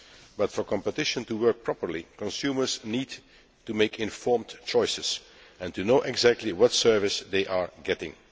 But for competition to work properly, consumers need to make informed choices, and to know exactly what service they are getting.